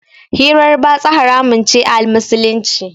hirar batsa haramun ce a Musulunci.